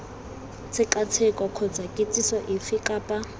tshekatsheko kgotsa kitsiso efe kapa